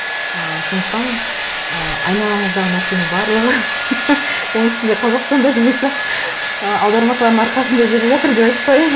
ы сондықтан ы айналаңыздағы нәрсенің барлығы оның үстінде қазақстанда деп айтсақ ы аудармашылардың арқасында жүріп жатыр деп айтып қояйын